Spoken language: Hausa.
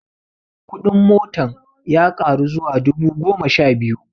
Kudin motan ya ƙaru zuwa dubu goma sha biyu